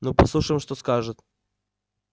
ну послушаем что скажет